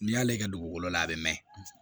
N'i y'ale kɛ dugukolo la a bɛ mɛn